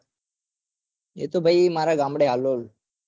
એ તો ભાઈ મારે ગામડે હાલોલ